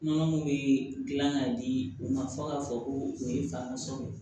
Nɔnɔ min bɛ dilan k'a di u ma fo k'a fɔ ko o ye fasa ye